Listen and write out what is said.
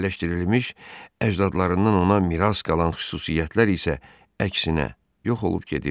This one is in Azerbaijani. Əhliləşdirilmiş əcdadlarından ona miras qalan xüsusiyyətlər isə əksinə yox olub gedirdi.